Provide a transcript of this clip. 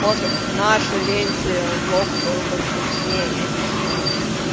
может в наше ленте блок был бы вкуснее я не знаю